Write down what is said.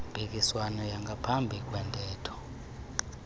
mpikiswano yangaphambi kwentetho